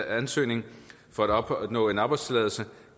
ansøgning for at opnå en arbejdstilladelse